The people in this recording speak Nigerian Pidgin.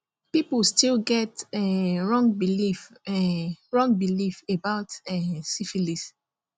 people still get um wrong belief um wrong belief about um syphilis